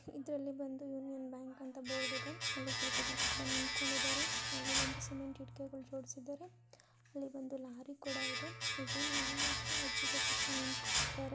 ಇದರಲ್ಲಿ ಬಂದು Union Bank ಅಂತ ಬೋರ್ಡ ಇದೆ ಅಲ್ಲಿ ಸ್ವಲ್ಪ ಸ್ವಲ್ಪ ಬಂದ ನಿಂತಕೊಂಡಿದ್ದಾರೆ ಅಲ್ಲಿ ಒಂದು ಸಿಮೆಂಟ ಇಟ್ಟಿಗೆ ಜೊಡಸಿದ್ದಾರೆ ಅಲ್ಲಿ ಬಂದು ಲಾರಿ ಕೂಡ ಇದೆ .